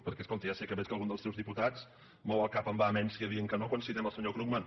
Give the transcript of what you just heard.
perquè escolti ja sé que veig que algun dels seus diputats mou el cap amb vehemència dient que no quan citem el senyor krugman